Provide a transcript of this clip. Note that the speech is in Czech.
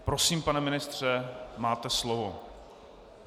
Prosím, pane ministře, máte slovo.